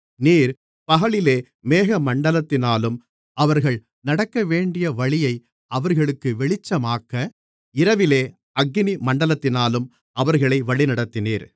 நீர் பகலிலே மேகமண்டலத்தினாலும் அவர்கள் நடக்கவேண்டிய வழியை அவர்களுக்கு வெளிச்சமாக்க இரவிலே அக்கினி மண்டலத்தினாலும் அவர்களை வழிநடத்தினீர்